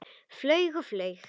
Flaug og flaug.